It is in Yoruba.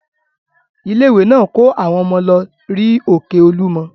Ilé-ìwé náà kó àwọn ọmọ lọ rí òkè Olúmọ.